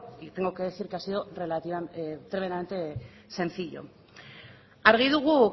y tengo que decir que ha sido tremendamente sencillo argi dugu